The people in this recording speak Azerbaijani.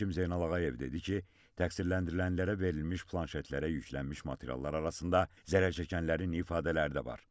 Hakim Zeynal Ağayev dedi ki, təqsirləndirilənlərə verilmiş planşetlərə yüklənmiş materiallar arasında zərər çəkənlərin ifadələri də var.